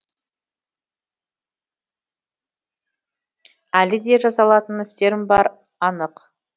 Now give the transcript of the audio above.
әлі де жасалатын істерім бары анық